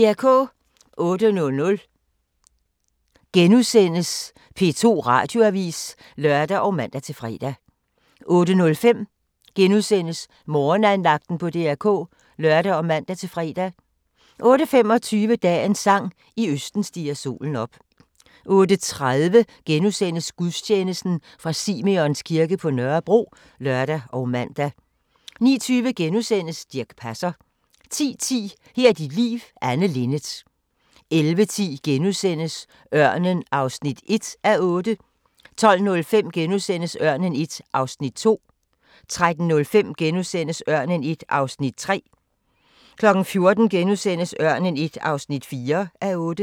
08:00: P2 Radioavis *(lør og man-fre) 08:05: Morgenandagten på DR K *(lør og man-fre) 08:25: Dagens sang: I østen stiger solen op 08:30: Gudstjeneste fra Simeons kirke på Nørrebro *(lør og man) 09:20: Dirch Passer * 10:10: Her er dit liv – Anne Linnet 11:10: Ørnen I (1:8)* 12:05: Ørnen I (2:8)* 13:05: Ørnen I (3:8)* 14:00: Ørnen I (4:8)*